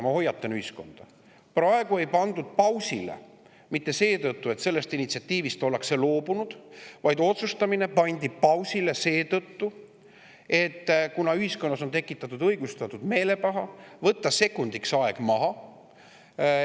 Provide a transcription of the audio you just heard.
Ma hoiatan ühiskonda: praegu ei pandud pausile mitte seetõttu, et sellest initsiatiivist ollakse loobutud, vaid otsustamine pandi pausile seetõttu, et kuna ühiskonnas on tekkinud õigustatud meelepaha, tuleb võtta sekundiks aeg maha.